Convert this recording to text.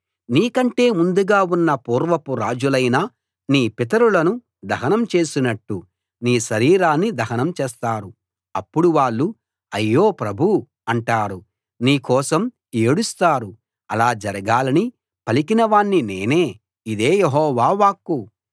నీకంటే ముందుగా ఉన్న పూర్వపు రాజులైన నీ పితరులను దహనం చేసినట్టు నీ శరీరాన్ని దహనం చేస్తారు అప్పుడు వాళ్ళు అయ్యో ప్రభూ అంటారు నీ కోసం ఏడుస్తారు అలా జరగాలని పలికిన వాణ్ణి నేనే ఇదే యెహోవా వాక్కు